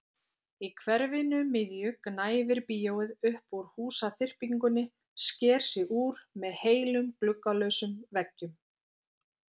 Í hverfinu miðju gnæfir bíóið upp úr húsaþyrpingunni, sker sig úr með heilum gluggalausum veggjum.